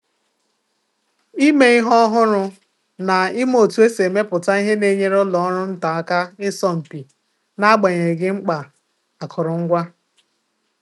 Ịme ihe ọhụrụ na ima otu esi emepụta ihe na-enyere ụlọ ọrụ nta aka ịsọ mpi n'agbanyeghị mkpa akụrụngwa.